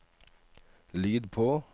lyd på